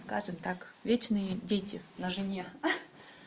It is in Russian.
скажем так вечные дети на жене